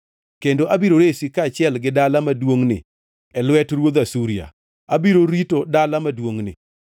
Kendo abiro resi kaachiel gi dala maduongʼni e lwet ruodh Asuria. Abiro rito dala maduongʼni.